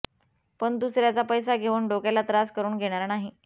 पण दुसऱ्याचा पैसा घेऊन डोक्याला त्रास करून घेणार नाही